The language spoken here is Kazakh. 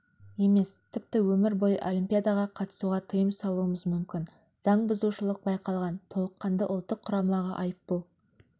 емес тіпті өмір бойы олимпиадаға қатысуға тыйым салуымыз мүмкін заң бұзушылық байқалған толыққанды ұлттық құрамаға айыппұл